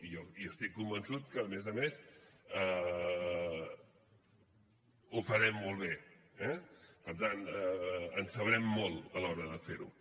jo estic convençut que a més a més ho farem molt bé eh per tant en sabrem molt a l’hora de fer ho